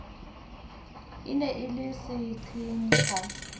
e ne e le seqhenqha